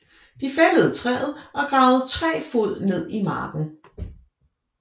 De fældede træet og gravede tre fod ned i marken